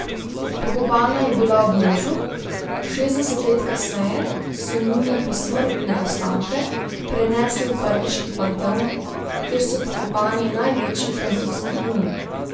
Pokopana je bila ob možu, šestdeset let kasneje so njune posmrtne ostanke prenesli v pariški Panteon, kjer so pokopani največji francoski umi.